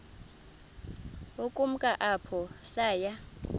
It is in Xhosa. ukumka apho saya